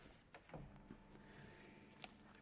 er